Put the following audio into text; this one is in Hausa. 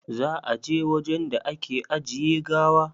Za a je wajen da ake ajiye gawa?